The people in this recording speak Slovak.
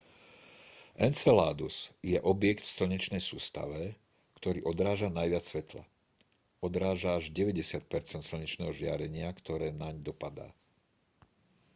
enceladus je objekt v slnečnej sústave ktorý odráža najviac svetla odráža až 90 percent slnečného žiarenia ktoré naň dopadá